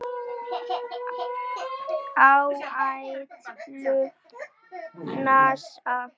Áætlun NASA